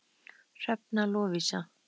Hrefna Lovísa.